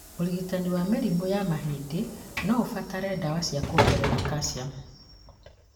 ũrigitani wa mĩrimũ ya mahĩndĩ noũbatare ndawa cia kuongerea kaciamu